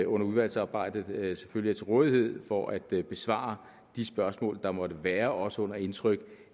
under udvalgsarbejdet selvfølgelig er til rådighed for at besvare de spørgsmål der måtte være også under indtryk